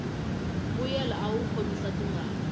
mbuyelo awu khomisa tingana